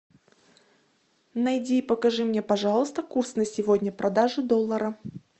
найди и покажи мне пожалуйста курс на сегодня продажи доллара